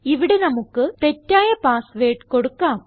ഇവിടെ നമുക്ക് തെറ്റായ പാസ് വേർഡ് കൊടുക്കാം